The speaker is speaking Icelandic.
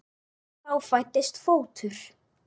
Og þá fæddist fótur.